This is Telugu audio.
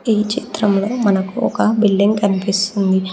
ఈ చిత్రంలో మనకు ఒక బిల్డింగ్ కనిపిస్తుంది.